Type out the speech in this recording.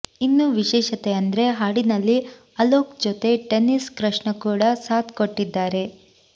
ಇನ್ನು ವಿಶೇಷತೆ ಅಂದ್ರೆ ಹಾಡಿನಲ್ಲಿ ಅಲೋಕ್ ಜೊತೆ ಟೆನ್ನಿಸ್ ಕೃಷ್ಣ ಕೂಡ ಸಾಥ್ ಕೊಟ್ಟಿದ್ದಾರೆ